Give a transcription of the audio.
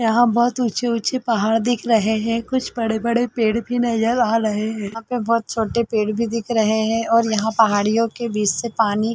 यहाँ बहुत बड़े - बड़े पहाड़ दिख रहे है कुछ बड़े-बड़े पेड़ भी नजर आ रहे है आगे बहोत छोटे पेड़ भी दिख रहे है और यहाँ पहाड़ियों के बीच से पानी--